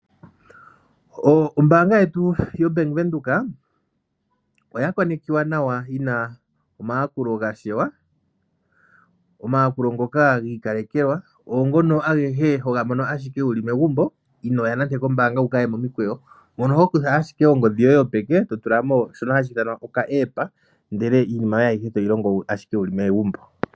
Ombaanga yetu Venduka oya konekiwa nawa yina omayakulo ga shewa . Omayakulo ngoka gi ikalekelwa ngono homono ashike wuli megumbo inoya kombaanga wu kayeomikweyo ,mono hokutha ashike ongodhi yoye yopeke totulamo ndele iinima yoye toyi longo ashike wuli megumbo.